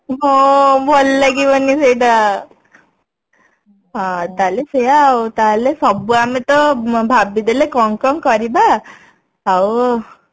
ହଁ ଭଲ ଲାଗିବନି ସେଟା ହଁ ତାହେଲେ ସେଇଆ ଆଉ ତାହେଲେ ସବୁ ଆମେ ତ ଭାବି ଦେଲେ କଣ କଣ କରିବା ଆଉ